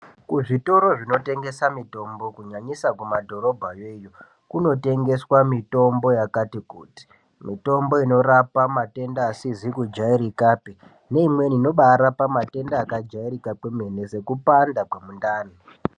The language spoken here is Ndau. Kuzvitoro zvinotengesa mitombo kunyanyisa kumadhorobhayo iyo kumotengeswa mitombo yakati kuti mitombo inorapa matenda asizi kujairikapi neimweni inobarapa matenda akajairika kwemene sekupanda kwemundani.